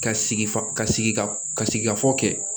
Ka sigi fa ka sigika ka sigikafɔ kɛ